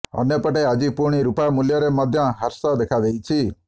ଅନ୍ୟପଟେ ଆଜି ପୁଣି ରୁପା ମୂଲ୍ୟରେ ମଧ୍ୟ ହ୍ରାସ ଦେଖାଦେଇଛି